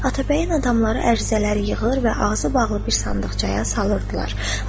Atabəyin adamları ərizələri yığır və ağzı bağlı bir sandıqçaya salırdılar.